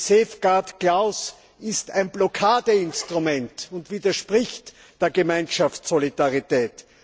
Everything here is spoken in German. Die Schutzklausel ist ein Blockadeinstrument und widerspricht der Gemeinschaftssolidarität.